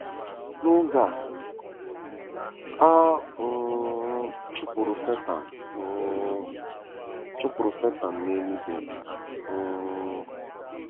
N’oge a, a um chụpụrụ Setan um chụpụrụ Setan n’eluigwe um.